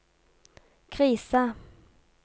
krisa